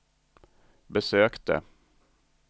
besökte